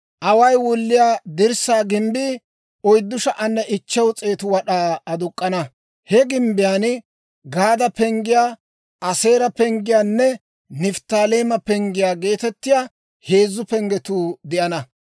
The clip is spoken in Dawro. Away wulliyaa dirssaa gimbbii 4,500 wad'aa aduk'k'ana; he gimbbiyaan Gaada penggiyaa, Aaseera penggiyaanne Nifttaaleema penggiyaa geetettiyaa heezzu penggetuu de'ana.